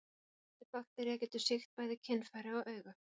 Þessi baktería getur sýkt bæði kynfæri og augu.